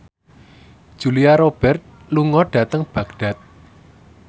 Julia Robert lunga dhateng Baghdad